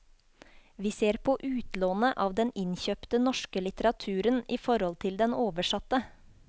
Vi ser på utlånet av den innkjøpte norske litteraturen i forhold til den oversatte.